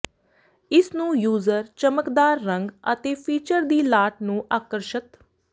ਇਸ ਨੂੰ ਯੂਜ਼ਰ ਚਮਕਦਾਰ ਰੰਗ ਅਤੇ ਫੀਚਰ ਦੀ ਲਾਟ ਨੂੰ ਆਕਰਸ਼ਿਤ